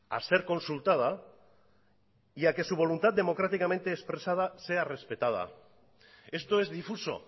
a ser consultada y a que su voluntad democráticamente expresada sea respetada esto es difuso